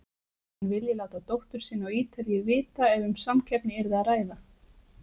Hann vilji láta dóttur sína á Ítalíu vita ef um samkeppni yrði að ræða.